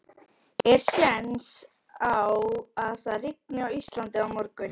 Er séns á að það rigni á Íslandi á morgun?